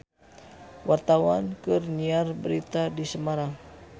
Wartawan keur nyiar berita di Semarang